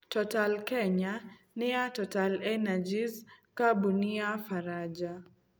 Total Kenya nĩ ya TotalEnergies, kambuni ya Baranja.